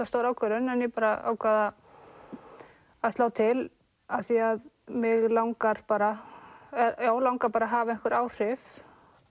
stór ákvörðun en ég ákvað að slá til af því að mig langar bara langar bara að hafa einhver áhrif